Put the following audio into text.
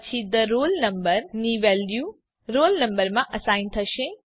પછી the roll number ની value roll number માં અસાઇન થશે